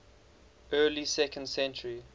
early second century